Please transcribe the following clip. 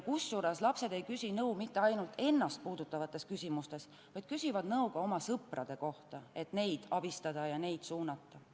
Kusjuures lapsed ei küsi nõu mitte ainult ennast puudutavates küsimustes, vaid nad küsivad nõu ka oma sõprade kohta, et neid abistada ja neid suunata.